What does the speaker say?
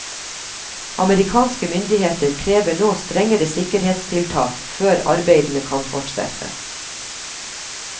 Amerikanske myndigheter krever nå strengere sikkerhetstiltak før arbeidene kan fortsette.